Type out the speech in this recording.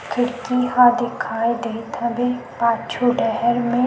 खिड़की ह दिखाई दे हवे पाछू डहर में--